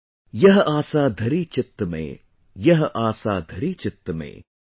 "Yeh aasa dhari chitta mein, yeh aasa dhari chitta mein